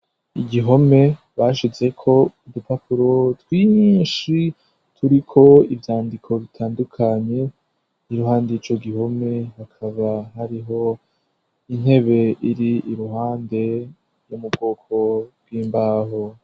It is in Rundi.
Igihome bashize ko urupapuro twinshi turi ko ibyandiko bitandukanye y'iruhande ico gihome bakaba hariho intebe iri iruhande yomubwoko bw'imbaho.